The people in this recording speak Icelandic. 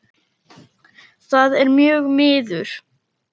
Það er mjög miður.